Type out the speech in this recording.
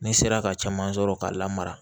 Ne sera ka caman sɔrɔ k'a lamara